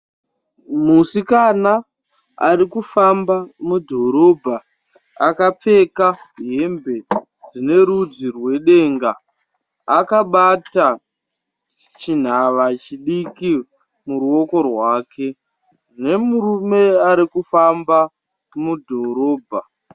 Musikana ari kufamba mudhorobha, akapfeka hembe dzine rudzi rwedenga, akabata chinhava chidiki muruoko rwake, nemurume ari kufamba mudhorobha.